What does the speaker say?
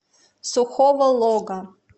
сухого лога